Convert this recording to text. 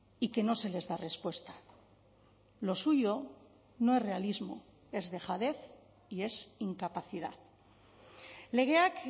y que no se les da respuesta lo suyo no es realismo es dejadez y es incapacidad legeak